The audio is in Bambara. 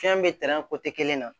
Fɛn bɛ tɛrɛn kelen na